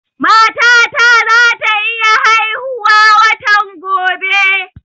Mata ta za ta iya haihu watan gobe